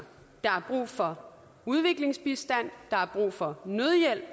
der er brug for udviklingsbistand der er brug for nødhjælp